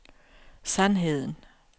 sandheden